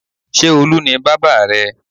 Ṣé Olu ni bábà rẹ?